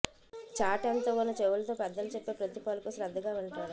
చాటంత ఉన్న చెవులతో పెద్దలు చెప్పే ప్రతి పలుకూ శ్రద్ధగా వింటాడు